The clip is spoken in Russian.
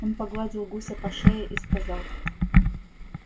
он погладил гуся по шее и сказал